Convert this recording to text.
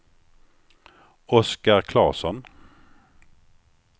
Oscar Claesson